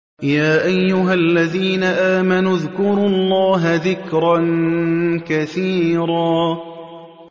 يَا أَيُّهَا الَّذِينَ آمَنُوا اذْكُرُوا اللَّهَ ذِكْرًا كَثِيرًا